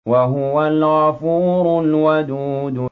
وَهُوَ الْغَفُورُ الْوَدُودُ